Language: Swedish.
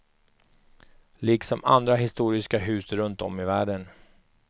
Liksom andra historiska hus runt om i världen.